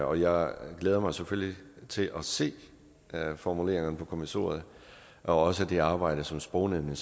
og jeg glæder mig selvfølgelig til at se formuleringerne fra kommissoriet og også det arbejde som sprognævnet